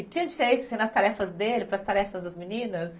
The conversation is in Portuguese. E tinha diferença nas tarefas dele para as tarefas das meninas?